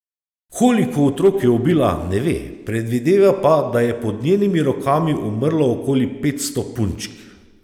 Koliko otrok je ubila, ne ve, predvideva pa, da je pod njenimi rokami umrlo okoli petsto punčk.